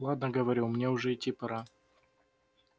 ладно говорю мне уже идти пора